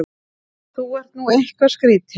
Þú ert nú eitthvað skrýtinn!